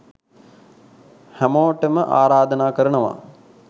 හැමෝටම ආරාධනා කරනවා